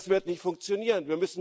Das wird nicht funktionieren.